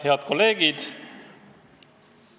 Head kolleegid!